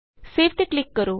save ਤੇ click ਕਰੋ